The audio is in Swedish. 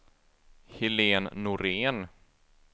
Helen Norén